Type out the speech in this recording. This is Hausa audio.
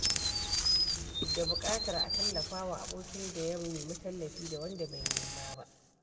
Da buƙatar a tallafawa abokin da ya nemi tallafi da wanda bai nema ba.